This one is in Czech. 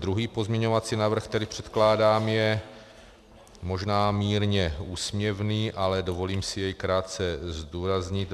Druhý pozměňovací návrh, který předkládám, je možná mírně úsměvný, ale dovolím si jej krátce zdůraznit.